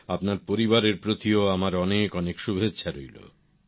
আপনার পরিবারের প্রতিও আমার অনেক অনেক শুভেচ্ছা রইল